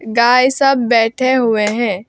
गाय सब बैठे हुए हैं।